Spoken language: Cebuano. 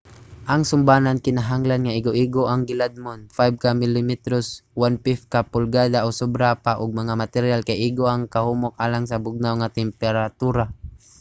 ang sumbanan kinahanglan nga igo-igo ang giladmon 5 ka milimetros 1/5 ka pulgada o sobra pa ug ang materyal kay igo ang kahumok alang sa bugnaw nga temperatura